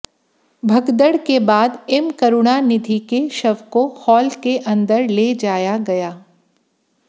भगदड़ के बाद एम करुणानिधि के शव को हॉल के अंदर ले जाया गया